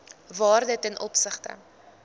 waarde ten opsigte